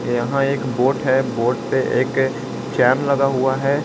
यहाँ एक बोट है बोट पे एक चैन लगा हुआ है।